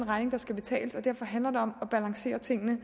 regning der skal betales derfor handler det om at balancere tingene